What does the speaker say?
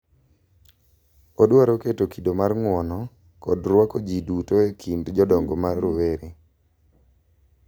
Odwaro keto kido mag ng'uono kod rwako ji duto e kind jodongo ma rowere.